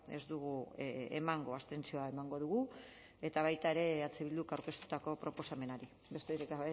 ez dugu emango abstentzioa emango dugu eta baita ere eh bilduk aurkeztutako proposamenari besterik